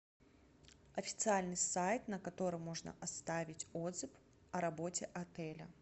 официальный сайт на котором можно оставить отзыв о работе отеля